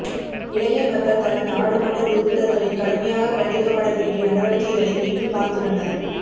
இலங்கை மக்கள் தங்கள் நாடாளுமன்ற உறுப்பினர்களின் கடுமையாக கண்டிக்கப்படவேண்டிய நடவடிக்கைகளை மீண்டும் பார்த்துள்ளனர்